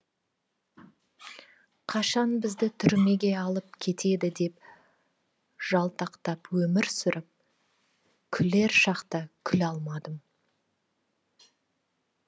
қашан бізді түрмеге алып кетеді деп жалтақтап өмір сүріп күлер шақта күле алмадым